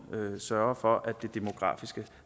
sørger for at det demografiske